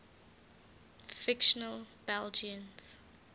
fictional belgians